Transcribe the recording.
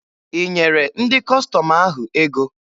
I nyere ndị Kọstọm ahụ ego?